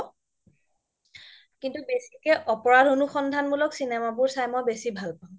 কিন্তু বেচিকে অপৰাধ অনুসন্ধান মুলক চিনেমা বোৰ চাই বেচি ভাল পাও